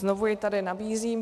Znovu ji tady nabízím.